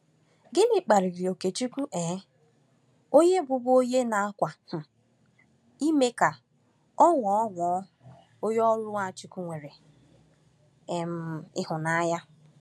Gịnị kpaliri Okechukwu um onye bụbu onye na-akwa um emo ka ọ ghọọ ghọọ onye ọrụ Nwachukwu nwere um ịhụnanya?